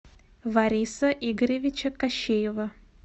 вариса игоревича кощеева